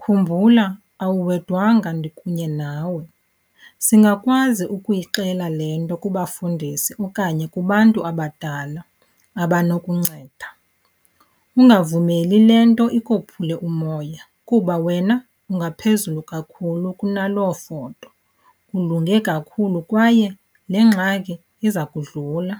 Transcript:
khumbula awuwedwanga ndikunye nawe. Singakwazi ukuyixelela le nto kubafundisi okanye kubantu abadala abanokunceda. Ungavumeli le nto ikophule umoya kuba wena ungaphezulu kakhulu kunaloo foto, ulunge kakhulu kwaye le ngxaki iza kudlula.